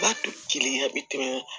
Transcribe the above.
Ba kelen a bɛ tɛmɛ